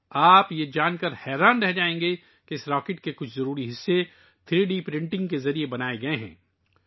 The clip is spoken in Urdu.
آپ کو یہ جان کر حیرت ہوگی کہ اس راکٹ کے کچھ اہم حصے تھری ڈی پرنٹنگ کے ذریعے بنائے گئے ہیں